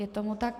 Je tomu tak.